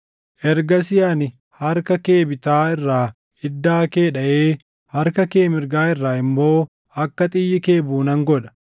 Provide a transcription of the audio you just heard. Ergasii ani harka kee bitaa irraa iddaa kee dhaʼee harka kee mirgaa irraa immoo akka xiyyi kee buʼu nan godha.